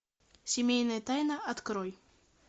семейная тайна открой